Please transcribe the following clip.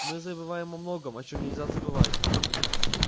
мы забываем о многом о чём нельзя забывать